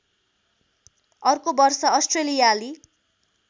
अर्को वर्ष अस्ट्रेलियाली